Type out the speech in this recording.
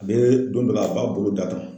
A bɛ don dɔ la a b'a bolo d'a kun.